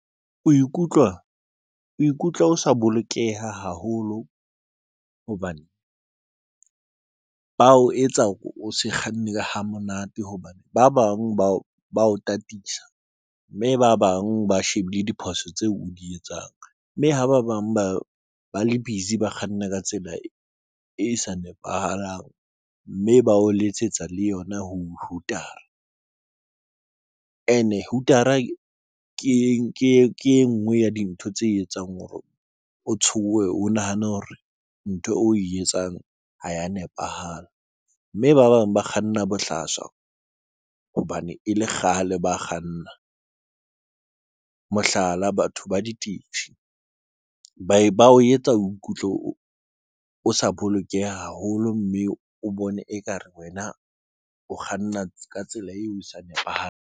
O ikutlwa o ikutlwa o sa bolokeha haholo hobane ba o etsa hore o se kganne ha monate hobane ba bang ba o ba o tataisa mme ba bang ba shebile diphoso tseo o di etsang mme ha ba bang ba ba le busy ba kganna ka tsela e sa nepahalang, mme ba o letsetsa le yona hooter-a ene ke e nngwe ya dintho tse etsang hore o tshohe, o nahane hore ntho e etsang ha ya nepahala mme ba bang ba kganna bohlaswa hobane e le kgale ba kganna. Mohlala, batho ba ditekise ba o etsa o ikutlwe o sa bolokeha haholo mme o bone ekare wena o kganna ka tsela eo o sa nepahalang.